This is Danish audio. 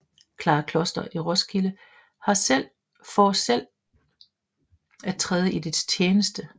Clara Kloster i Roskilde for selv at træde i dets tjeneste